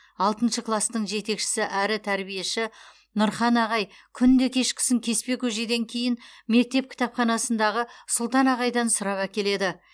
алтыншы кластың жетекшісі әрі тәрбиеші нұрхан ағай күнде кешкісін кеспе көжеден кейін мектеп кітапханасындағы сұлтан ағайдан сұрап әкеледі